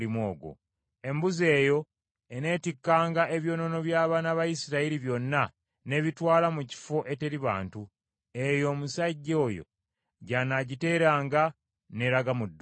Embuzi eyo eneetikkanga ebyonoono by’abaana ba Isirayiri byonna n’ebitwala mu kifo eteri bantu, eyo omusajja oyo gy’anaagiteeranga n’eraga mu ddungu.